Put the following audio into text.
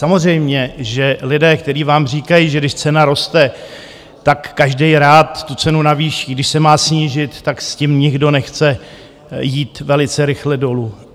Samozřejmě, že lidé, který vám říkají, že když cena roste, tak každý rád tu cenu navýší, když se má snížit, tak s tím nikdo nechce jít velice rychle dolů.